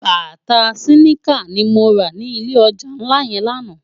Bàtá siniká ni mó rá ni ilé òjá nlá yèn làná